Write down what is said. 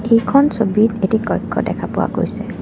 এইখন ছবিত এটি কক্ষ দেখা পোৱা গৈছে.